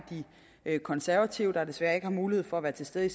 af de konservative der desværre ikke har mulighed for at være til stede i